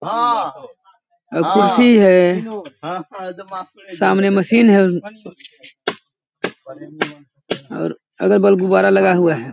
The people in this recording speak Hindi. कुर्सी हे सामने मशीन है और अगल-बगल गुब्बारा लगा हुआ है।